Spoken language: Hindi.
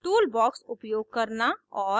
tool box उपयोग करना और